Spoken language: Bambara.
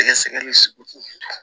Sɛgɛsɛgɛli sugu